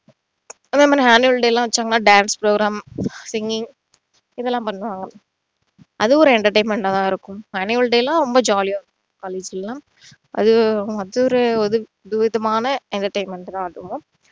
அதே மாதிரி annual day லாம் வச்சாங்கன்னா dance programme singing இதெல்லாம் பண்ணுவாங்க அதுவும் ஒரு entertainment ஆ தான் இருக்கும் annual day லாம் ரொம்ப jolly ஆ இருக்கும் college ல அது ஒரு வித விதமான entertainment தான் அதுவும்